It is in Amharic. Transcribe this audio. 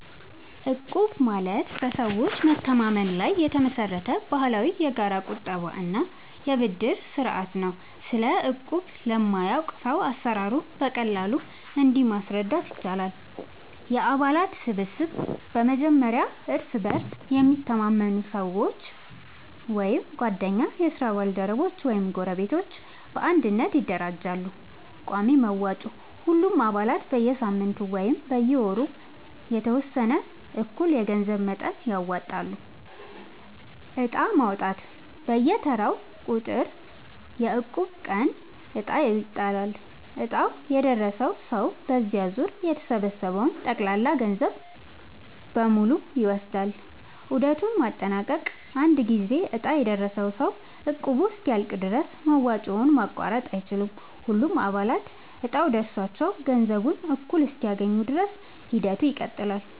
እቁብ ማለት በሰዎች መተማመን ላይ የተመሰረተ ባህላዊ የጋራ ቁጠባ እና የብድር ስርዓት ነው። ስለ እቁብ ለማያውቅ ሰው አሰራሩን በቀላሉ እንዲህ ማስረዳት ይቻላል፦ የአባላት ስብስብ፦ በመጀመሪያ እርስ በእርስ የሚተማመኑ ሰዎች (ጓደኞች፣ የስራ ባልደረቦች ወይም ጎረቤቶች) በአንድነት ይደራጃሉ። ቋሚ መዋጮ፦ ሁሉም አባላት በየሳምንቱ ወይም በየወሩ የተወሰነ እኩል የገንዘብ መጠን ያወጣሉ። ዕጣ ማውጣት፦ በየተራው ቁጥር (የእቁብ ቀን) ዕጣ ይጣላል፤ ዕጣው የደረሰው ሰው በዚያ ዙር የተሰበሰበውን ጠቅላላ ገንዘብ በሙሉ ይወስዳል። ዑደቱን ማጠናቀቅ፦ አንድ ጊዜ ዕጣ የደረሰው ሰው እቁቡ እስኪያልቅ ድረስ መዋጮውን ማቋረጥ አይችልም። ሁሉም አባላት እጣው ደርሷቸው ገንዘቡን እኩል እስኪያገኙ ድረስ ሂደቱ ይቀጥላል።